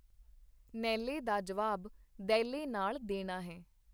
ਨਹਿਲੇ ਦਾ ਜਵਾਬ ਦਹਿਲੇ ਨਾਲ ਦੇਣਾ ਹੈ.